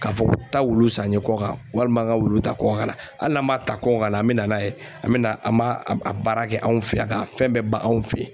K'a fɔ ko taa wulu san n ye kɔkan walima n ka wulu ta kɔkan kana hali n'an m'a ta kɔkan ka na an bɛ na n'a ye an bɛ na an b'a a baara kɛ anw fɛ yan a k'a fɛn bɛɛ ban anw fɛ